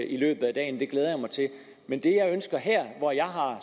i løbet af dagen det glæder jeg mig til men det jeg ønsker her hvor jeg har